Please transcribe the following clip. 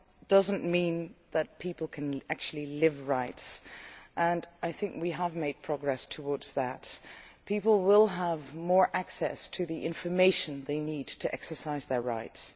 does not mean that people can actually live out their rights, and I think we have made progress towards that. People will have more access to the information they need to exercise their rights.